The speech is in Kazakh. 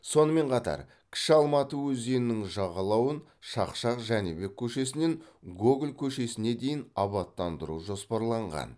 сонымен қатар кіші алматы өзенінің жағалауын шақшақ жәнібек көшесінен гоголь көшесіне дейін абаттандыру жоспарланған